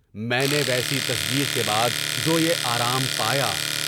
میں نے ویسی تصدیق کے بعد جو یے آرام پایا ۔